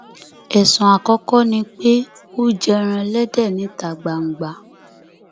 ẹsùn àkọkọ ni pé ó jẹràn ẹlẹdẹ níta gbangba